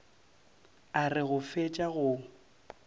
a re go fetša go